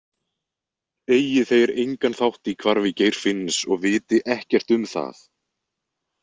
Eigi þeir engan þátt í hvarfi Geirfinns og viti ekkert um það.